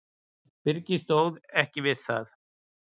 Byrgið stóð ekki við það.